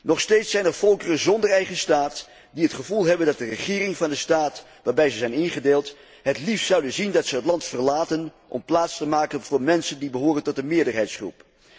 Nog steeds zijn er volkeren zonder eigen staat, die het gevoel hebben dat de regering van de staat waarbij ze zijn ingedeeld, het liefst zou zien dat ze het land verlaten om plaats te maken voor mensen die behoren tot de meerderheidsgroep.